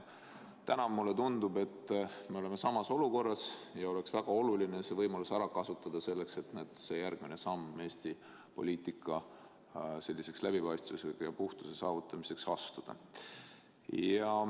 Täna mulle tundub, et me oleme samas olukorras, ja oleks väga oluline see võimalus ära kasutada, et astuda järgmine samm Eesti poliitika läbipaistvuse ja puhtuse saavutamiseks.